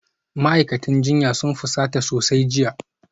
Ma'aikatan jinya sun fusata sosai jiya